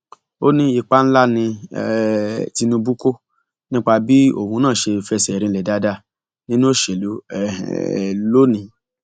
ó ní ipa ńlá ni um tinubu kó nípa bí òun náà ṣe fẹsẹ rinlẹ dáadáa nínú òṣèlú um lónìín